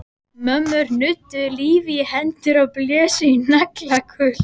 Mömmur nudduðu lífi í hendur og blésu í naglakul.